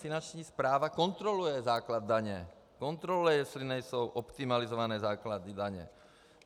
Finanční správa kontroluje základ daně, kontroluje, jestli nejsou optimalizované základy daně.